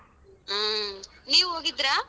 ಹ್ಮ್, ನೀವ್ ಹೋಗಿದ್ರ?